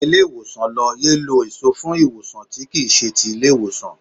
Gba ilé ìwòsàn lọ, yéé lọ èso fún ìwòsàn tí kì í ṣe ti ilé ìwòsàn.